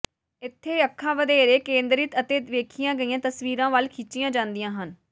ਇੱਥੇ ਅੱਖਾਂ ਵਧੇਰੇ ਕੇਂਦਰਿਤ ਅਤੇ ਵੇਖੀਆਂ ਗਈਆਂ ਤਸਵੀਰਾਂ ਵੱਲ ਖਿੱਚੀਆਂ ਜਾਂਦੀਆਂ ਹਨ